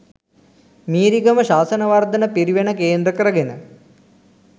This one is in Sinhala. මීරිගම ශාසනවර්ධන පිරිවෙන කේන්ද්‍ර කරගෙන